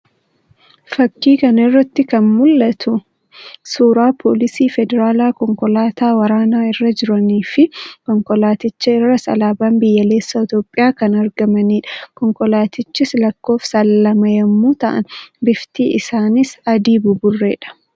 Fakkii kana irratti kan mu'atu suuraa poolisii federaalaa konkolaataa waraanaa irra jiranii fi konkolaaticha irras alaabaan biyyoolessaa Itoophiyaa kan argamaniidha. Konkolaatichis lakkoofsaan lama yammuu ta'an bifti isaas adii buburree dha.